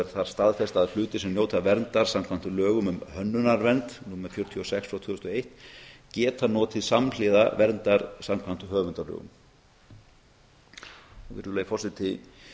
er þar staðfest að hlutir sem njóta verndar samkvæmt lögum um hönnunarvernd númer fjörutíu og sex frá tvö þúsund og eitt geta notið samhliða verndar samkvæmt höfundalögum virðulegi forseti